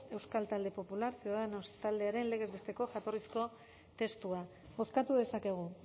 euskal talde popular cidadanos taldearen legez besteko jatorrizko testua bozkatu dezakegu